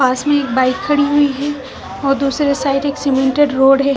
पास में एक बाइक खड़ी हुई है और दूसरी साइड एक सीमेंटेड रोड है।